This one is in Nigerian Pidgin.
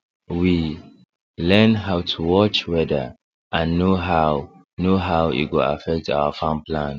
we learn how to watch weather and know how know how e go affect our farm plan